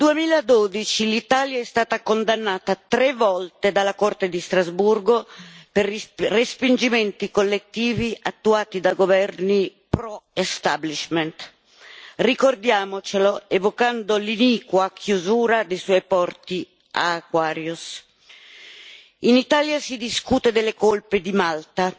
Signor Presidente, onorevoli colleghi, dal 2012 l'Italia è stata condannata tre volte dalla Corte di Strasburgo per respingimenti collettivi attuati da governi pro establishment. Ricordiamocelo, evocando l'iniqua chiusura dei suoi porti ad Aquarius. In Italia si discute delle colpe di Malta.